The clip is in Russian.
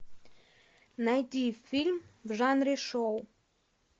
найди фильм в жанре шоу